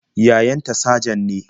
Yayan ta sajan ne.